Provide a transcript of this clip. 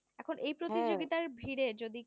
এখন এই প্রতিযোগিতার ভিড়ে যদি